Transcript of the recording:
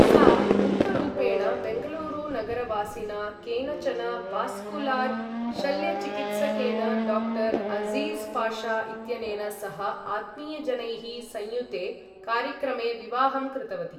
सा गुप्तरूपेण बेङ्गलूरुनगरवासिना केनचन वास्कुलार् शल्यचिकित्सकेन डाक्टर् अर्ज़ीज़् पाशा इत्यनेन सह आत्मीयजनैः संयुते कार्यक्रमे विवाहं कृतवती।